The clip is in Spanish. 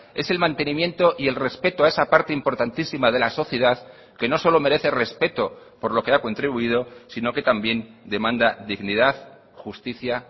es el mantenimiento y el respeto a esa parte importantísima de la sociedad que no solo merece respeto por lo que ha contribuido sino que también demanda dignidad justicia